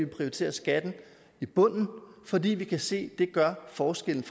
prioritere skatten i bunden fordi vi kan se det gør forskellen